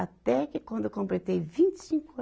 Até que quando eu completei vinte e cinco